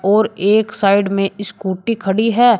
और एक साइड में स्कूटी खड़ी है।